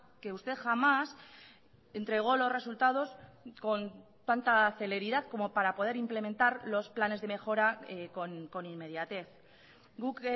que usted jamás entregó los resultados con tanta celeridad como para poder implementar los planes de mejora con inmediatez guk